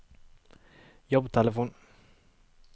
jobbtelefon